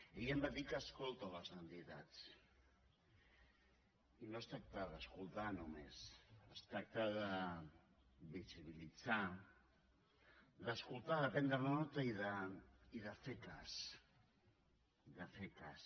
ell em va dir que escolta les entitats i no es tracta d’escoltar només es tracta de visibilitzar d’escoltar de prendre nota i de fer ne cas de fer ne cas